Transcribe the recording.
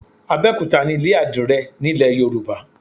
Abẹ́òkúta nílé àdìrẹ nílẹ̀ Yorùbá.